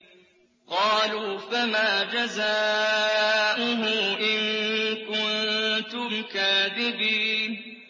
قَالُوا فَمَا جَزَاؤُهُ إِن كُنتُمْ كَاذِبِينَ